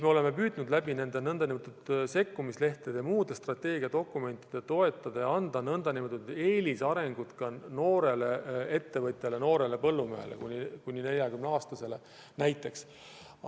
Me oleme püüdnud nende nn sekkumislehtede ja muude strateegiadokumentide kaudu toetada eeliste andmist noortele ettevõtjatele, noortele põllumeestele – kuni 40-aastastele näiteks.